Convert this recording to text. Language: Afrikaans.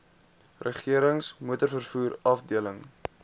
regerings motorvervoer afdeling